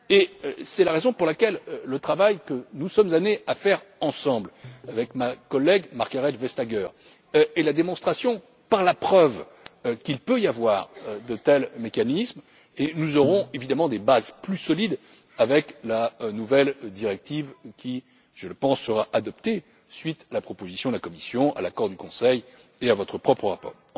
Et c'est la raison pour laquelle le travail que nous sommes amenés à faire ensemble, avec ma collègue Margrethe Vestager, est la démonstration par la preuve qu'il peut y avoir de tels mécanismes, et nous aurons évidemment des bases plus solides avec la nouvelle directive, qui, je le pense, sera adoptée à la suite de la proposition de la Commission, de l'accord du Conseil et de votre propre